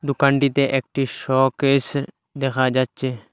দোকানটিতে একটি শোকেস দেখা যাচ্ছে।